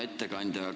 Hea ettekandja!